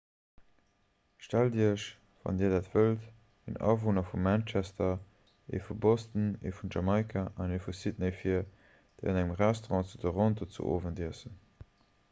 stellt iech wann dir dat wëllt en awunner vu manchester ee vu boston ee vun jamaika an ee vu sydney vir déi an engem restaurant zu toronto zu owend iessen